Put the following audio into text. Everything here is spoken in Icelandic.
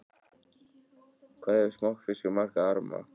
Hvað hefur smokkfiskur marga arma?